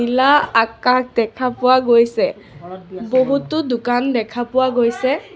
আকাশ দেখা পোৱা গৈছে বহুতো দোকান দেখা পোৱা গৈছে।